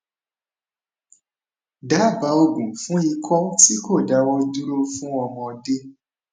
daba oogun fún iko ti ko dawo duro fun ọmọdé